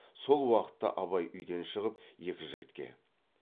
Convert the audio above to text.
сол уақытта абай үйден шығып екі жігітке